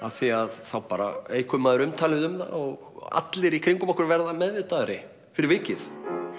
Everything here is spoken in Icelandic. af því að þá eykur maður umtalið um það og allir í kringum okkur verða meðvitaðri fyrir vikið